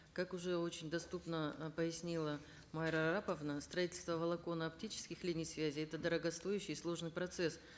как уже очень доступно ы пояснила майра араповна строительство волоконно оптических линий связи это дорогостоющий и сложный процесс